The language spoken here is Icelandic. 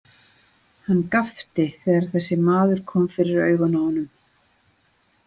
Hann gapti þegar þessi maður kom fyrir augun á honum.